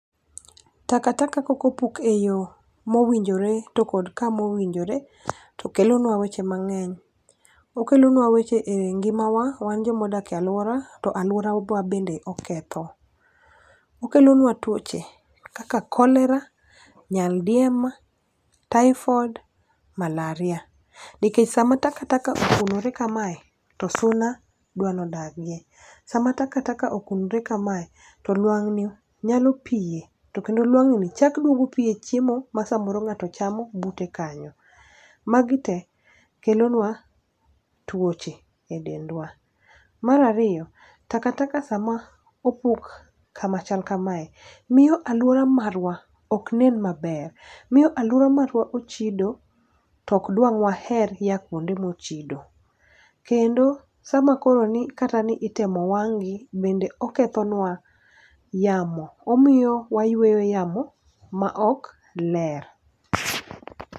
Takataka koko opuk e yo mowinjore to kod kama owinjore to kelonwa weche mang'eny. Okelonwa weche e ngima wa wan joma odake aluora to aluoro wa bende oketho. Okelonwa tuoche kaka kolera, nyaldiema, taifoid, malaria. Nikech sama takataka okunore kamae, to suna dwani odagie. Sama takataka okunre kamae to lwang'ni nyalo pie, to kendo lwang'ni chak duogo pie chiemo ma samoro ng'ato chamo bute kanyo. Magi te kelonwa tuoche e dendwa. Mar ariyo takataka sama opuk kama chal kamae, miyo aluora marwa oknen maber. Miyo aluora marwa ochido tok dwa waher ya kuonde mochido. Kendo sama koro ni kata ni itemo wang'gi bende oketho nwa yamo. Omiyo wayueyo yamo ma ok ler.